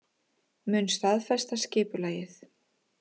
Mun staðfesta skipulagið